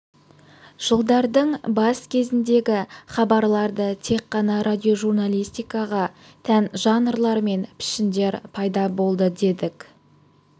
жылдардың бас кезіндегі хабарларды тек қана радиожурналистикаға тән жанрлар мен пішіндер пайда болды дедік